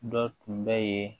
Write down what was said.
Dɔ tun bɛ yen